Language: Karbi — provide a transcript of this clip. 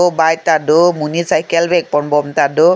bike tado monit cycle vek pon bom tado.